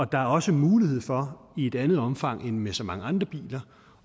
der er også mulighed for i et andet omfang end med så mange andre biler